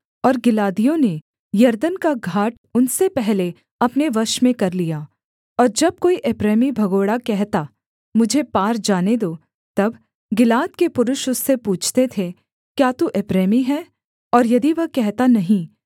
और गिलादियों ने यरदन का घाट उनसे पहले अपने वश में कर लिया और जब कोई एप्रैमी भगोड़ा कहता मुझे पार जाने दो तब गिलाद के पुरुष उससे पूछते थे क्या तू एप्रैमी है और यदि वह कहता नहीं